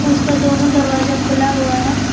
उसका दोनों दरवाजा खुला हुआ है।